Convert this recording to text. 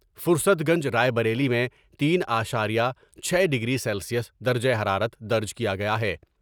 فرست گنج راۓ بریلی میں تین اعشاریہ چھ ڈگری سیلسیس درجہ حرارت درج کیا گیا ہے ۔